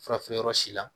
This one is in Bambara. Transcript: Fura feere yɔrɔ si la